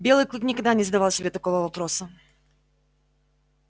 белый клык никогда не задавал себе такого вопроса